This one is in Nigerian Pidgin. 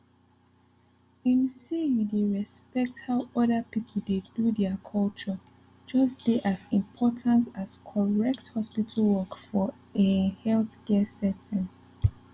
ehm say you dey respect how other people dey do their culture just dey as important as correct hospital work for ehh healthcare settings